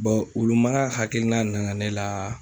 wulu mara hakilina nana ne la